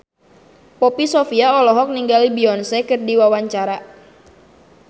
Poppy Sovia olohok ningali Beyonce keur diwawancara